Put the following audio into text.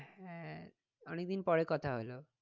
হ্যাঁ অনেকদিন পরে কথা হলো।